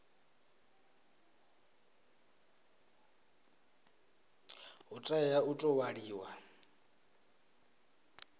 hu tea u tou ṅwaliwa